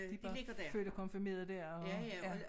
De bare født og konfirmeret der og ja